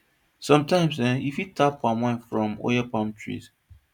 sometimes eh you fit tap palm wine from oil palm trees